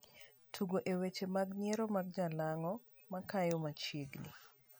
Tug e' weche mag nyiero mag jalang'o makayo machiegni.